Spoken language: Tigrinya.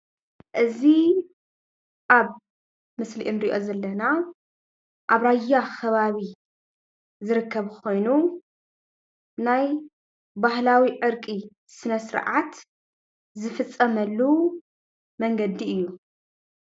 እዚ ኣብ ምስሊ እንሪኦ ዘለና ኣብ ራያ ከባቢ ዝርከብ ኮይኑ ናይ ባህላዊ ዕርቂ ስነ ስርዓት ዝፍፀመሉ መንገዲ እዩ፡፡